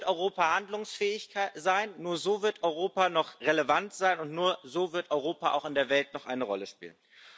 Nur so wird Europa handlungsfähig sein, nur so wird Europa noch relevant sein, und nur so wird Europa auch in der Welt noch eine Rolle spielen.